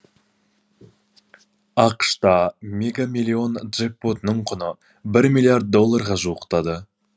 ақш та мега миллион джекпотының құны бір миллиард долларға жуықтады